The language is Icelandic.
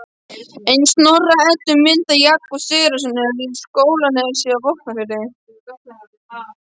Ein Snorra-Eddu mynda Jakobs Sigurðssonar í Skálanesi í Vopnafirði